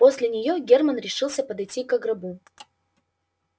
после нее герман решился подойти ко гробу